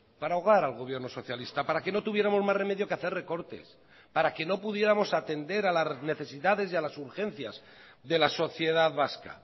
para ahogar al gobierno socialista para que no tuviéramos más remedio que hacer recortes para que no pudiéramos atender a las necesidades y a las urgencias de la sociedad vasca